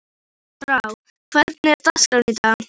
Andrá, hvernig er dagskráin í dag?